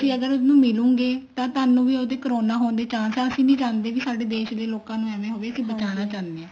ਅਗਰ ਉਹਨੂੰ ਮਿਲੁਗੇ ਤਾਂ ਤੁਹਾਨੂੰ ਵੀ ਉਹਦੇ corona ਹੋਣ ਦੇ chance ਆ ਅਸੀਂ ਨੀ ਚਾਹੁੰਦੇ ਵੀ ਸਾਡੇ ਦੇਸ਼ ਦੇ ਲੋਕਾਂ ਨੂੰ ਵੇਵੇਂ ਹੋਵੇ ਅਸੀਂ ਬਚਾਉਣਾ ਚਾਹੁੰਦੇ ਆ